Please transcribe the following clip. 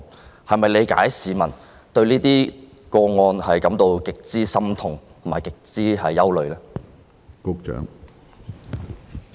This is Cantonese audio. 你能否理解市民對這些個案的極度心痛及憂慮之情？